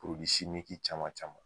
simiki caman caman.